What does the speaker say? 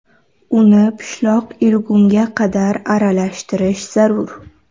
Uni pishloq erigunga qadar aralashtirish zarur.